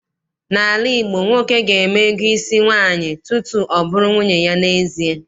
N'ala Igbo, nwoke ga-eme ego isi nwaanyị tutu ọ bụrụ nwunye ya n'ezie.